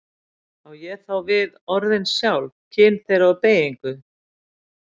Á ég þá við orðin sjálf, kyn þeirra og beygingu.